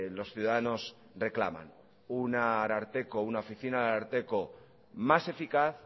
los ciudadanos reclaman un ararteko una oficina de ararteko más eficaz